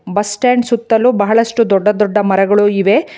Bus stand ಸುತ್ತಲು ಬಹಳಷ್ಟು ದೊಡ್ಡ ದೊಡ್ಡ ಮರಗಳು ಇವೆ.